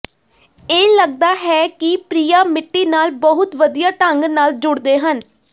ਇਹ ਲਗਦਾ ਹੈ ਕਿ ਪ੍ਰਿਆਂ ਮਿੱਟੀ ਨਾਲ ਬਹੁਤ ਵਧੀਆ ਢੰਗ ਨਾਲ ਜੁੜਦੇ ਹਨ